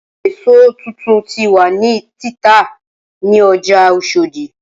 Awọn eso titun ti wa ni tita ni ọja oshodi.